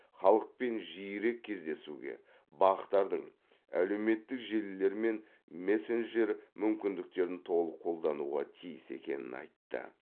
халықпен жиірек кездесуге бақ тардың әлеуметтік желілер мен мессенджер мүмкіндіктерін толық қолдануға тиіс екенін айтты